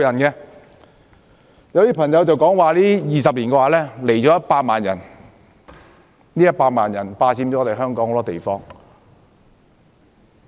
有些議員說 ，20 年來有100萬人來港，他們霸佔了香港很多地方。